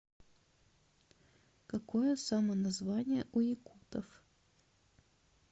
какое самоназвание у якутов